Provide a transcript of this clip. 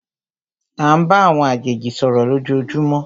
À ń bá àwọn àjèjì sọ̀rọ̀ lójoojúmó.